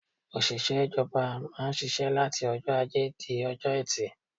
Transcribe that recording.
Òṣìṣẹ́ ìjọba má ń ṣiṣẹ́ láti ọjọ́ ajé di ọjọ́ ẹtì.